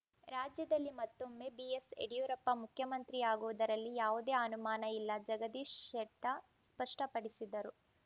ರಾಜ್ಯದಲ್ಲಿ ಮತ್ತೊಮ್ಮೆ ಬಿಎಸ್‌ಯಡಿಯೂರಪ್ಪ ಮುಖ್ಯಮಂತ್ರಿಯಾಗುವುದರಲ್ಲಿ ಯಾವುದೇ ಅನುಮಾನ ಇಲ್ಲ ಜಗದೀಶ ಶೆಟ್ಟಾ ಸ್ಪಷ್ಟಪಡಿಸಿದರು